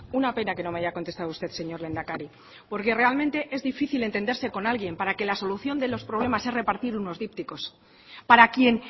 una pena que no me haya contestado usted señor lehendakari porque realmente es difícil entenderse con alguien para que la solución de los problemas sea repartir unos dípticos para quien